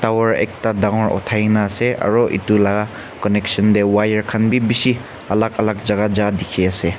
tower ekta dangor uthaigena ase aro itu laga connection tey wire khan bi bishi alak alak jagah ja dikhi ase.